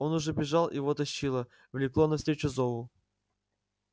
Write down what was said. он уже бежал его тащило влекло навстречу зову